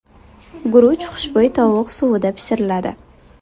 Guruch xushbo‘y tovuq suvida pishiriladi.